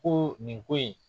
Ko nin ko in